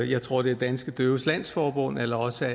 jeg tror det er danske døves landsforbund eller også